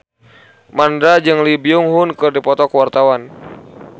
Mandra jeung Lee Byung Hun keur dipoto ku wartawan